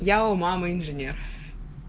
я у мамы инженер